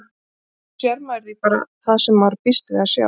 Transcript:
Stundum sér maður því bara það sem maður býst við að sjá.